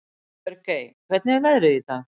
Björgey, hvernig er veðrið í dag?